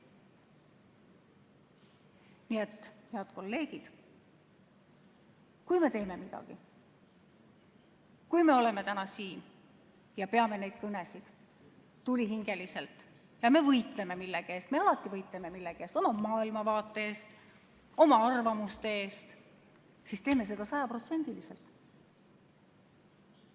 Nii et, head kolleegid, kui me teeme midagi, kui me oleme täna siin ja peame tulihingeliselt neid kõnesid ja võitleme millegi eest – me alati võitleme millegi eest, oma maailmavaate eest, oma arvamuste eest –, siis teeme seda sajaprotsendiliselt.